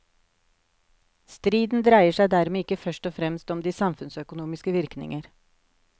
Striden dreier seg dermed ikke først og fremst om de samfunnsøkonomiske virkninger.